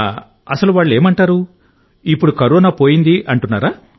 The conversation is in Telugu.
అసలు వాళ్ళేమంటారు ఇప్పుడు కరోనా పోయిందని అంటున్నారా